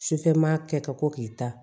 Sufɛ maa kɛ ka ko k'i ta